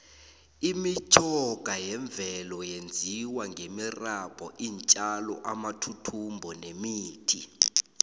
imitjhoga yemvelo yenziwe ngemirabhu iintjalo amathuthumbo nemithi